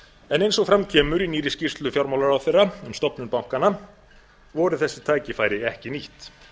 en eins og fram kemur í nýrri skýrslu fjármálaráðherra um stofnun bankanna voru þessi tækifæri ekki nýtt